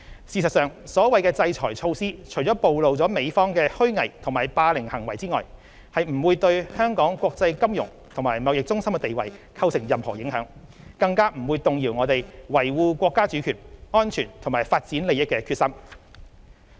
事實上，所謂的制裁措施除了暴露美方的虛偽和霸凌行為外，不會對香港國際金融和貿易中心的地位構成任何影響，更加不會動搖我們維護國家主權、安全及發展利益的決心。